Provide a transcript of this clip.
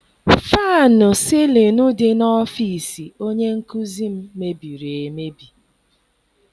Fannụ sịlịnụ dị n'ọfịịsi onye nkụzi m mebiri emebi.